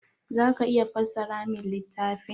Za ka iya fassara min littafin?